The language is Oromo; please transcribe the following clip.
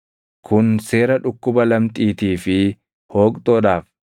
Kun seera dhukkuba lamxiitii fi hooqxoodhaaf,